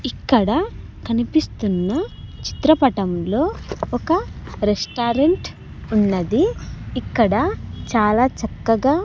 ఇక్కడ కనిపిస్తున్న చిత్రపటంలో ఒక రెస్టారెంట్ ఉన్నది ఇక్కడ చాలా చక్కగా--